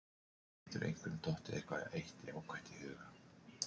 Getur einhverjum dottið eitthvað eitt jákvætt í hug?